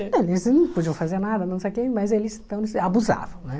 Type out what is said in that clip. Eles não podiam fazer nada, não sei o que, mas eles então abusavam, né?